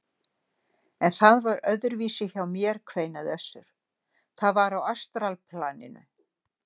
En það var öðruvísi hjá mér, kveinaði Össur,- það var á astralplaninu.